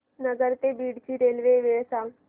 नगर ते बीड ची रेल्वे वेळ सांगा